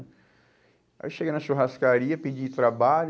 Aí eu cheguei na churrascaria, pedi trabalho.